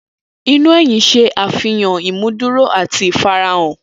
Ina eyin ṣe afihan imuduro ati ifarahan.